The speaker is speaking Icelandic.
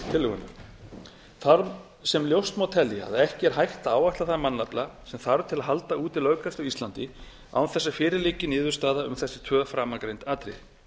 tillögunnar þar sem ljóst má telja að ekki er hægt að áætla þann mannafla sem þarf til að halda úti löggæslu á íslandi án þess að fyrir liggi niðurstaða um þessi tvö framangreind atriði